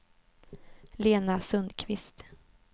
Lena Sundqvist